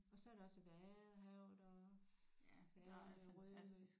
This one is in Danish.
Og så er der også Vadehavet og Fanø Rømø